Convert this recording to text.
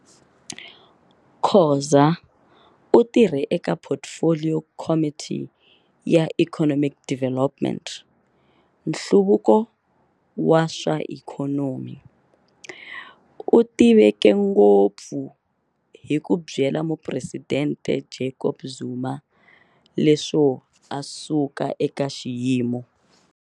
Khoza u tirhe eka Portfolio Committee ya Economic Development, Nhluvuko wa swa Ikhonomi. U tiveke ngopfu hi ku byela mupresidente Jacob Zuma leswo a suka eka xiyimo.